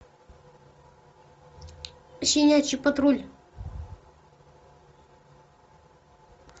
щенячий патруль